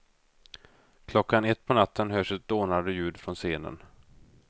Klockan ett på natten hörs ett dånande ljud från scenen.